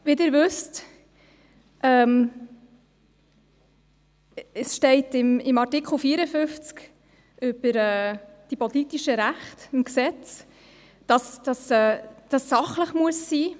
Wie Sie wissen, steht in Artikel 54 des Gesetzes über die politischen Rechte (PRG), die Abstimmungserläuterungen müssten sachlich sein.